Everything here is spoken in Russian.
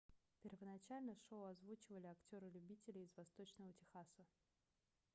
первоначально шоу озвучивали актёры-любители из восточного техаса